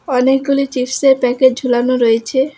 অনেকগুলি চিপস -এর প্যাকেট ঝুলানো রয়েছে।